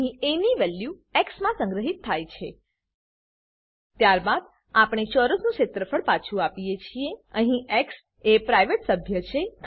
અહીં એ ની વેલ્યુ એક્સ માં સંગ્રહીત થાય છે ત્યારબાદ આપણે ચોરસનું ક્ષેત્રફળ પાછું આપીએ છીએ અહીં એક્સ એ પ્રાઈવેટ સભ્ય છે